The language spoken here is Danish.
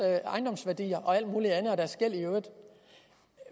ejendomsværdi og og alt muligt andet